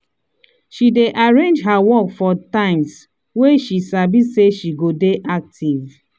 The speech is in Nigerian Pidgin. she dey arrange her work for times wey she sabi say she go dey active